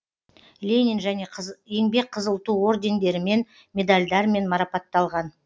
ленин және еңбек қызыл ту ордендерімен медальдармен марапатталған